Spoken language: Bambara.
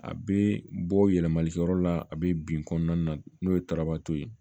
A bɛ bɔ yɛlɛmalikɛyɔrɔ la a bɛ bin kɔnɔna na n'o ye tarabato ye